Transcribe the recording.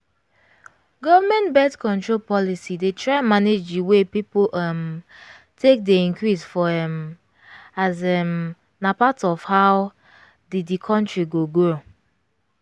government birth-control policy dey try manage the way people um take dey increase for um as um na part of how di di country go grow